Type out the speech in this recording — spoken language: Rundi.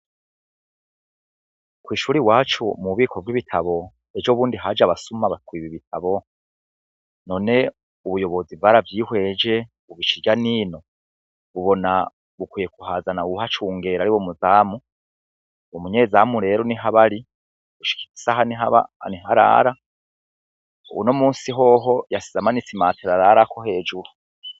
Kw'ishuri iwacu m'ububiko bw'ibitabo ejo bundi haj'abasuma batwiba ibitabu ,none ubuyobozi bwaravyihweje bubic'irya n'ino bubona bukwiye kuhazana uwuhacungera ariwe muzamu, umunyezamu rero nihabari, nihaba, nih'arara unomusi hoho yasize imatera ararako hejuru.